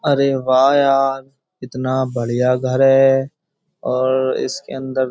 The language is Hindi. अरे वाह यार कितना बढ़िया घर है और इसके अंदर --